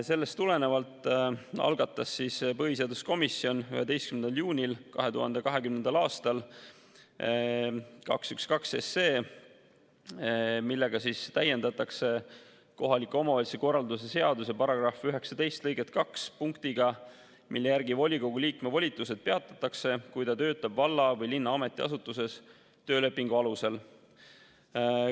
Sellest tulenevalt algatas põhiseaduskomisjon 11. juunil 2020. aastal eelnõu 212, millega täiendatakse kohaliku omavalitsuse korralduse seaduse § 19 lõiget 2 punktiga, mille järgi volikogu liikme volitused peatatakse, kui ta töötab valla või linna ametiasutuses töölepingu alusel.